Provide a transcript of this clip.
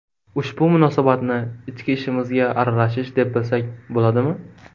Ushbu munosabatni ichki ishimizga aralashish, deb bilsak bo‘ladimi?